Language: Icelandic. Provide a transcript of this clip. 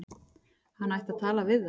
Hann ætti að tala við þá.